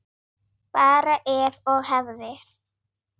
Bara ef og hefði.